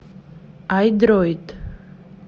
айдроид